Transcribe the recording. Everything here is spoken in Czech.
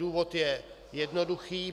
Důvod je jednoduchý: